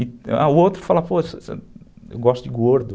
E o outro fala, pô, eu gosto de gordo.